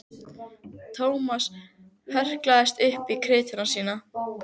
Thomas hrökklaðist upp í kytruna sína.